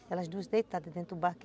Elas duas deitadas dentro do barco.